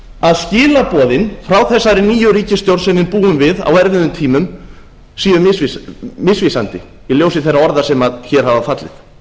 að skilaboðin frá þessari nýju ríkisstjórn sem við búum við á erfiðum tímum séu misvísandi í ljósi þeirra orða sem hér hafa fallið